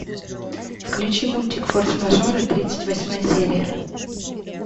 включи мультик форс мажоры тридцать восьмая серия